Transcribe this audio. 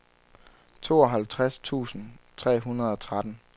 tooghalvtreds tusind tre hundrede og tretten